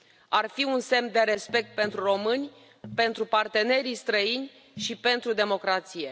Ar fi un semn de respect pentru români, pentru partenerii străini și pentru democrație.